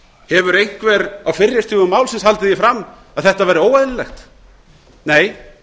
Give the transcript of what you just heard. hefur einhver á fyrri stigum málsins haldið því fram að þetta væri óeðlilegt nei ég